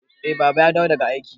Eh Baba ya dawo daga aiki.